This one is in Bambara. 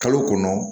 Kalo kɔnɔ